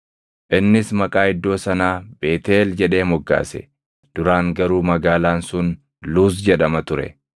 Innis maqaa iddoo sanaa Beetʼeel jedhee moggaase; duraan garuu magaalaan sun Luuzi jedhama ture.